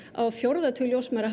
á fjórða tug ljósmæðra